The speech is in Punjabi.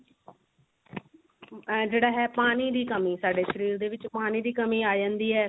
ਜਿਹੜਾ ਹੈ ਪਾਣੀ ਦੀ ਕਮੀ ਸਾਡੇ ਸ਼ਰੀਰ ਦੇ ਵਿੱਚ ਪਾਣੀ ਪਾਣੀ ਦੀ ਕਮੀ ਆ ਜਾਂਦੀ ਹੈ